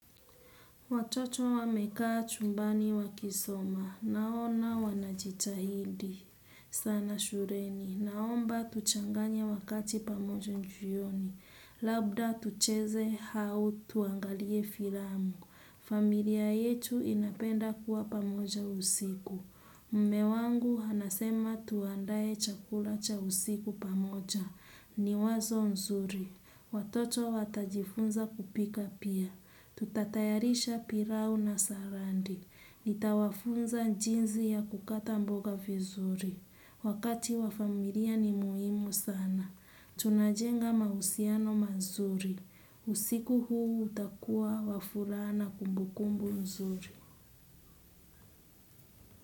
Watoto wamekaa chumbani wakisoma. Naona wanajitahidi. Sana shureni. Naomba tuchanganya wakati pamoja jioni. Labda tucheze hau tuangalie firamu. Familia yetu inapenda kuwa pamoja usiku. Mme wangu hanasema tuandae chakula cha usiku pamoja. Ni wazo nzuri. Watoto watajifunza kupika pia. Tutatayarisha pirao na sarandi. Nitawafunza jinzi ya kukata mboga vizuri. Wakati wafamilia ni muhimu sana. Tunajenga mahusiano mazuri. Usiku huu utakua wa furaha na kumbukumbu nzuri.